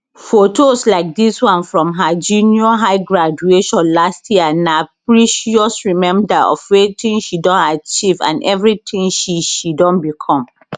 fotos like dis one from her junior high graduation last year na precious reminder of wetin she don achieve and evritin she she don become